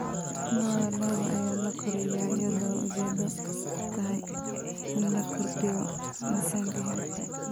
Lo'da lo'da ayaa la koriyaa iyadoo ujeedadu tahay in la kordhiyo miisaanka hilibka.